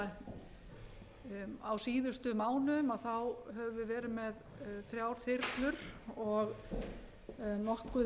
eða á síðustu mánuðum höfum við verið með þrjár þyrlur og nokkuð